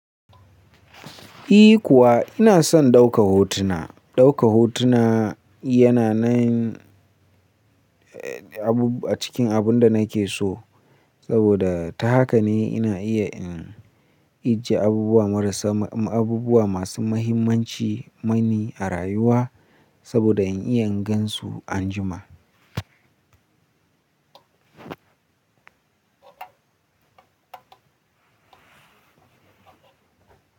I kuwa ina son ɗauka hotuna. Ɗauka hotuna yana nan, eh, a cikin abun da nake so saboda ta haka ne ina iya in ijje abubuwa marasa, abubuwa masu mahimmanci mani a rayuwa saboda in iya gan su anjima.